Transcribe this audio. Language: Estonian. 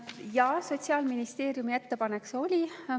Jaa, Sotsiaalministeeriumilt see ettepanek.